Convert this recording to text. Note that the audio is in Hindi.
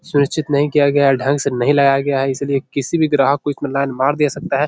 सुनिश्चित नहीं किया गया है ढंग से नहीं लगाया गया है इसीलिए किसी भी ग्राहक को इसमें लाइन मार दे सकता है।